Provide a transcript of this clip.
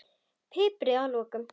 Piprið að lokum.